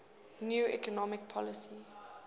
new economic policy